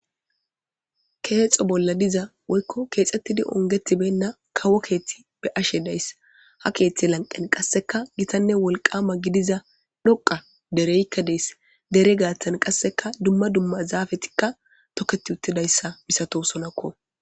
Kexxo bolla dizza woykko kexxetidi onggeti beyna kawo keththe be'ashe dayse ha keththe lanqqen qasseka giitanne wolqqama giddiza dhoqqa dereykka dessi deere gaththan qasseka dumma dumma zafetika tokketi uttidaysi missatosonako.